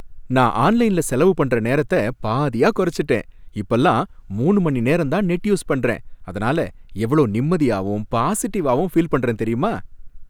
நான் ஆன்லைன்ல செலவு பண்ற நேரத்த பாதியா குறச்சுட்டேன், இப்பலாம் மூணு மணிநேரம் தான் நெட் யூஸ் பண்றேன் அதனால எவ்ளோ நிம்மதியாவும் பாஸிடிவாவும் ஃபீல் பண்றேன் தெரியுமா?.